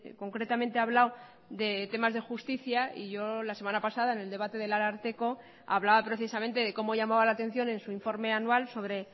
concretamente ha hablado de temas de justicia y yo la semana pasada en el debate del ararteko hablaba precisamente de cómo llamaba la atención en su informe anual sobre